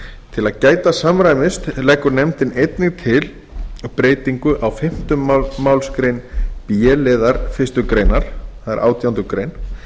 til að gæta samræmis leggur nefndin einnig til breytingu á fimmtu málsgrein b liðar fyrstu grein